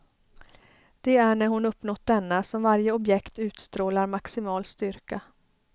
Det är när hon uppnått denna som varje objekt utstrålar maximal styrka.